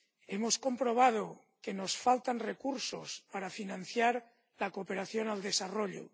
Hemos comprobado que nos faltan recursos para financiar la cooperación al desarrollo.